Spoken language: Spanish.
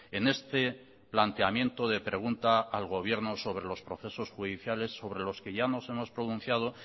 en este planteamiento de pregunta al gobierno sobre los procesos judiciales sobre los que ya nos hemos pronunciado